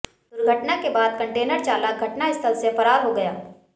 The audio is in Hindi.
दुर्घटना के बाद कंटेनर चालक घटनास्थल से फरार हो गया